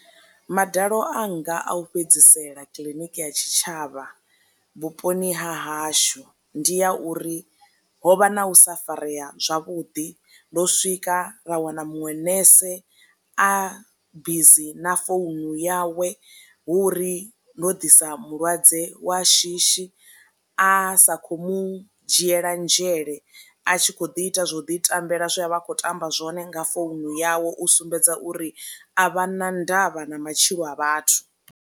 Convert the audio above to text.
Madalo anga a u fhedzisela kiḽiniki ya tshi tshavha vhuponi ha hashu ndi a uri ho vha na u sa farea zwavhuḓi ndo swika ra wana muṅwe nese a bizi na founu yawe hu uri ndo ḓisa mulwadze wa shishi a sa kho mu dzhiela nzhele a tshi kho ḓi ita zwo ḓi tambela zwe a vha a khou tamba zwone nga founu yawe u sumbedza uri a vha na ndavha na matshilo a vhathu.